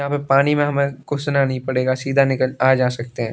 यहां पर पानी में हमें घुसना नहीं पड़ेगा सीधा निकल आ जा सकते हैं।